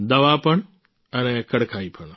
દવા પણ અને કડકાઈ પણ